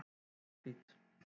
Mjallhvít